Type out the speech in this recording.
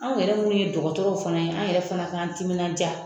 Anw yɛrɛ munnu ye dɔgɔtɔrɔw fana ye, an yɛrɛ fana k'an timinanja